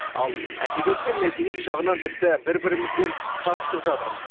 ал әдебиет пен мәдениет жағынан тіпті бір бірімізбен қабысып жатырмыз